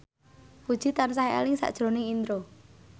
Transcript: Puji tansah eling sakjroning Indro